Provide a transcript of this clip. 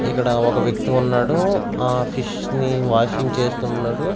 ఇక్కడ ఒక వ్యక్తి ఉన్నాడు ఆ ఫిష్ ని వాషింగ్ చేస్తున్నడు.